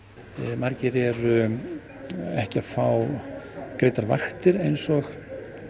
margir eru ekki að fá greiddar vaktir eins og